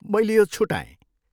मैले यो छुटाएँ।